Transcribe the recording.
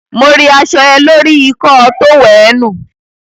Mo ri aṣọ ẹ lórí ikọ́ọ tówẹ̀ẹ́nù.